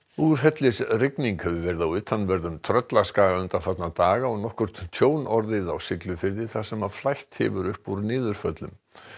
úrhellisrigning hefur verið á utanverðum Tröllaskaga undanfarna daga og nokkurt tjón orðið á Siglufirði þar sem flætt hefur upp úr niðurföllum